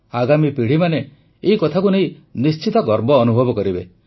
ଆଗାମୀ ପିଢ଼ିମାନେ ଏହି କଥାକୁ ନେଇ ନିଶ୍ଚିତ ଗର୍ବ ଅନୁଭବ କରିବେ